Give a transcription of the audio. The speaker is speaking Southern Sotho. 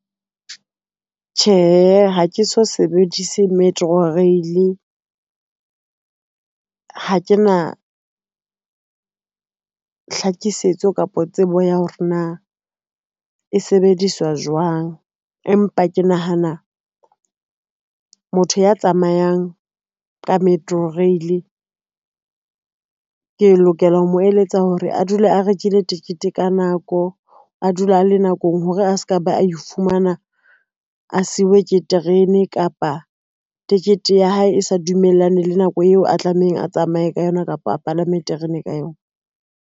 Tjhe, ha ke so sebedise metro rail, ha ke na hlakisetso kapa tsebo ya hore na e sebediswa jwang, empa ke nahana motho ya tsamayang ka metro rail. Ke lokela ho mo eletsa hore a dule a rekile tikete ka nako, a dule a le nakong hore a ska ba ifumana a siuwe ke terene kapa ticket ya hae e sa dumellane le nako eo a tlamehang a tsamaye ka yona kapa a palame terene ka yona.